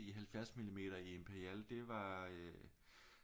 I 70 millimeter i Imperial det var øh